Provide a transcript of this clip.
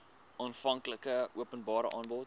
aanvanklike openbare aanbod